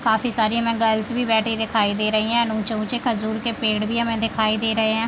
काफी सारी हमें गर्ल्स भी बैठी दिखाई दे रहीं हैं एंड ऊँचे-ऊँचे खजूर के पेड़ भी हमें दिखाई दे रहे हैं।